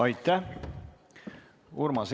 Aitäh!